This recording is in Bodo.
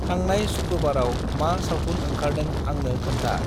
थांनाय शुक्रबाराव मा सावथुन ओंखारदों आंनो खोनथा।